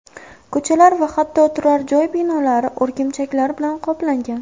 Ko‘chalar va hatto turar-joy binolari o‘rgimchaklar bilan qoplangan.